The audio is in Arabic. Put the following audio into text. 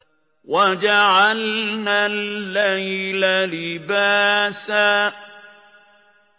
وَجَعَلْنَا اللَّيْلَ لِبَاسًا